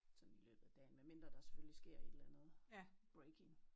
Sådan i løbet af dagen medmindre der selvfølgelig sker et eller andet breaking